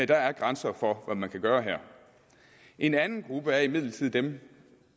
der er grænser for hvad man kan gøre her en anden gruppe er imidlertid den